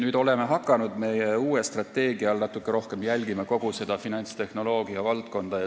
Me oleme hakanud nüüd oma uue strateegia all natuke rohkem jälgima kogu seda finantstehnoloogia valdkonda.